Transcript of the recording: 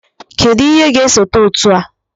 Kedụ ihe ga-esote otu a?